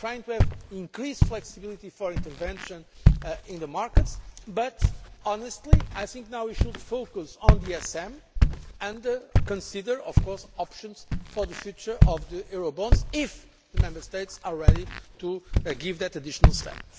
we are trying to have increased flexibility for intervention in the markets but, honestly, I think we should now focus on the ESM and consider, of course, options for the future of the Eurobonds if the Member States are ready to take that additional step.